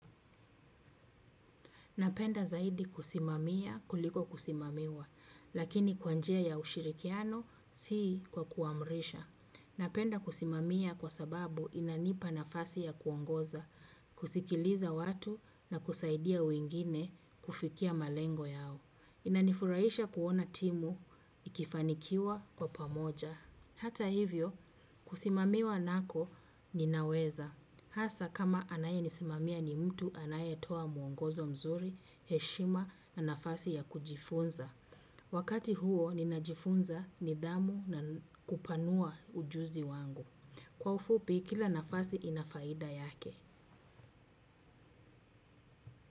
Napenda zaidi kusimamia kuliko kusimamiwa, lakini kwa njia ya ushirikiano si kwa kuamrisha. Napenda kusimamia kwa sababu inanipa nafasi ya kuongoza, kusikiliza watu na kusaidia wengine kufikia malengo yao. Inanifurahisha kuona timu ikifanikiwa kwa pamoja. Hata hivyo, kusimamiwa nako ninaweza. Hasa kama anaye nisimamia ni mtu anaye toa muongozo mzuri, heshima na nafasi ya kujifunza. Wakati huo ninajifunza nidhamu na kupanua ujuzi wangu. Kwa ufupi kila nafasi inafaida yake.